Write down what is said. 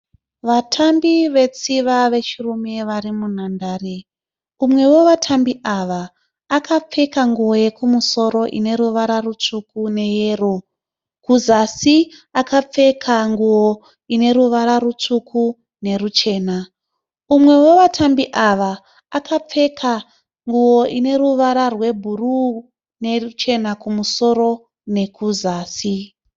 Vatambi vetsviva vechirume vari munhandare. Umwe wevatambi ava akapfeka nguwo yekusoro ine ruvara rutsvuku neyero kuzasi akapfeka nguwo ine ruvara rutsvuku neruchena. Umwewevatambi ava akapfeka nguwo ine ruvara rwebhuru neruchena kumusoro nekuzasi.